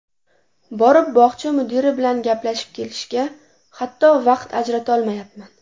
Borib bog‘cha mudiri bilan gaplashib kelishga, hatto, vaqt ajratolmayapman.